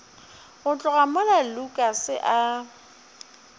go tloga mola lukas a